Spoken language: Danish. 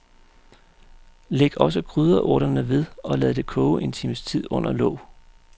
Læg også krydderurterne ved og lad det koge en times tid under låg.